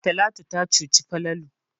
Talatu ta cuci Falalu.